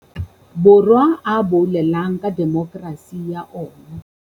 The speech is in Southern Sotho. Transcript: Borwa a boulelang ka demokerasi ya ona.